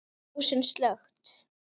Ljósin slökkt.